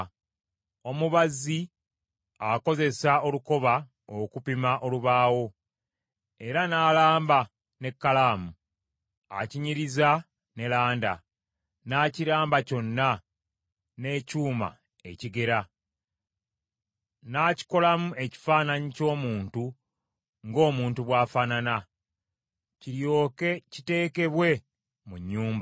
Omubazzi akozesa olukoba okupima olubaawo era n’alamba n’ekkalaamu. Akinyiriza ne landa, n’akiramba kyonna n’ekyuma ekigera, n’akikolamu ekifaananyi ky’omuntu ng’omuntu bw’afaanana, kiryoke kiteekebwe mu nnyumba.